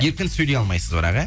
еркін сөйлей алмайсыз бірақ иә